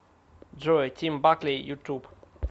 джой тим бакли ютуб